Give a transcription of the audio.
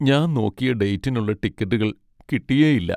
ഞാൻ നോക്കിയ ഡേറ്റിനുള്ള ടിക്കറ്റുകൾ കിട്ടിയേയില്ല.